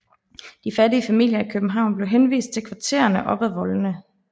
De fattige familier i København blev henvist til kvartererne op ad voldene